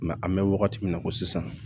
an bɛ wagati min na ko sisan